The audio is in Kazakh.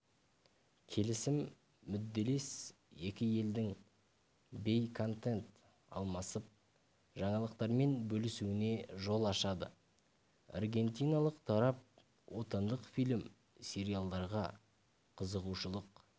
келісім мүдделес екі елдің бейнеконтент алмасып жаңалықтармен бөлісуіне жол ашады аргентиналық тарап отандық фильм сериалдарға қызығушылық